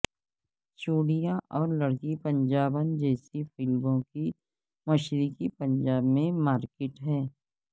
چوڑیاں اور لڑکی پنجابن جیسی فلموں کی مشرقی پنجاب میں مارکیٹ ہے